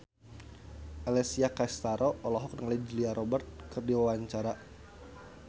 Alessia Cestaro olohok ningali Julia Robert keur diwawancara